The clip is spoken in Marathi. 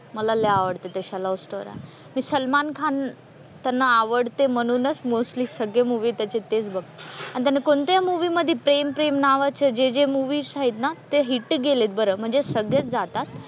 मला लय आवडतात अशा लव्ह स्टोरी मी सलमान खान त्यांना आवडते म्हणूनच मोस्टली सगळे मुव्हीज त्याचे तेच बघते आन त्याने कोणत्याही मूवी मध्ये प्रेम प्रेम नावाचं जे जे मूवी आहेत ना ते हिट गेलेत बरं म्हणजे सगळेच जातात.